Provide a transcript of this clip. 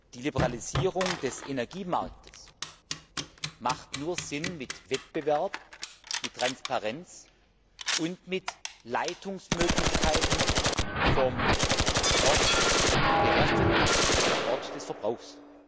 Die Liberalisierung des Energiemarktes hat nur Sinn mit Wettbewerb, mit Transparenz und mit Leitungsmöglichkeiten vom Ort der Herstellung zum Ort des Verbrauchs.